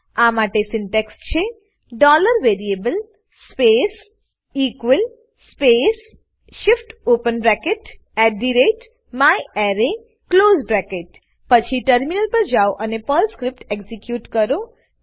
આ માટે સિન્ટેક્સ છે variable space space shift open bracket myArray close bracket પછી ટર્મિનલ પર જાઓ અને પર્લ સ્ક્રીપ્ટ એક્ઝીક્યુટ કરો